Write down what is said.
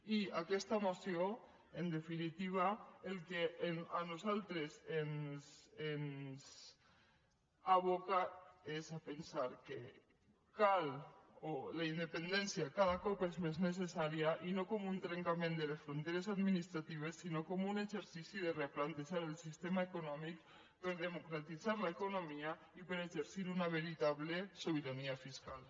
i aquesta moció en definitiva al que a nosaltres ens aboca és a pensar que cal que la independència cada cop és més necessària i no com un trencament de les fronteres administratives sinó com un exercici de replantejar el sistema econòmic per a democratitzar l’economia i per a exercir una veritable sobirania fiscal